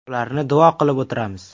Ularni duo qilib o‘tiramiz.